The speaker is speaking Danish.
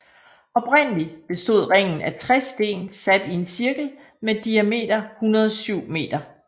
Oprindelig bestod ringen af 60 sten sat i en cirkel med diameter 107 meter